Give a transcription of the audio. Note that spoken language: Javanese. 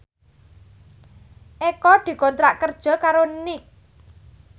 Eko dikontrak kerja karo Nike